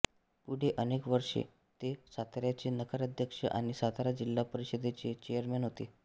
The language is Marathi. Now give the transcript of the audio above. पुढे अनेक वर्षे ते साताऱ्याचे नगराध्यक्ष आणि सातारा जिल्हा परिषदेचे चेअरमन होते